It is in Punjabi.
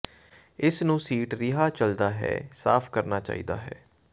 ਇਸ ਨੂੰ ਸੀਟ ਰਿਹਾ ਚੱਲਦਾ ਹੈ ਸਾਫ ਕਰਨਾ ਚਾਹੀਦਾ ਹੈ